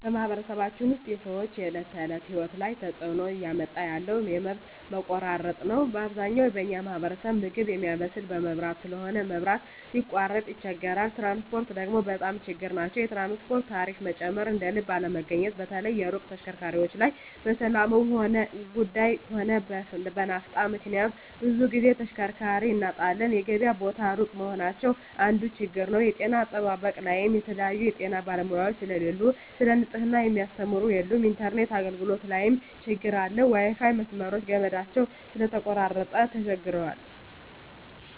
በማኅበረሰባችን ውስጥ የሰዎች የዕለት ተእለት ህይወት ላይ ትጽእኖ እያመጣ ያለው የመብት መቆራረጥ ነዉ አብዛኛው በኛ ማህበረሰብ ምግብ ሚያበስል በመብራት ስለሆነ መብራት ሲቃረጥ ይቸገራሉ ትራንስፖርት ደግሞ በጣም ችግር ናቸዉ የትራንስፖርት ታሪፋ መጨመር እደልብ አለመገኘት በተለይ የሩቅ ተሽከርካሪዎች ላይ በሠላሙም ጉዱይ ሆነ በናፍጣ ምክንያት ብዙ ግዜ ተሽከርካሪ እናጣለን የገበያ ቦታ እሩቅ መሆናቸው አንዱ ችግር ነዉ የጤና አጠባበቅ ላይም የተለያዩ የጤና ባለሙያዎች ስለሉ ሰለ ንጽሕና ሚያስተምሩ የሉም የኢንተርነት አገልግሎት ላይም ትግር አለ የዋይፋይ መስመሮች ገመዳቸው ስለተቆራረጠ ተቸግረዋል